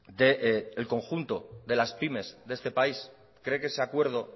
del conjunto de las pymes de este país cree que ese acuerdo